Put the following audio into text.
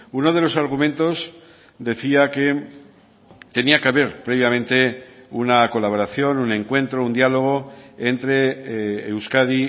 uno de los argumentos decía que tenía que haber previamente una colaboración un encuentro un diálogo entre euskadi